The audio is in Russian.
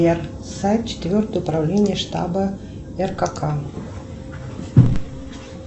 сбер сайт четвертое управление штаба ркк